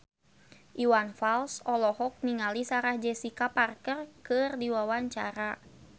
Iwan Fals olohok ningali Sarah Jessica Parker keur diwawancara